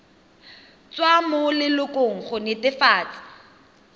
tswa mo lelokong go netefatsa